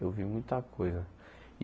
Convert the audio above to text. Eu vi muita coisa.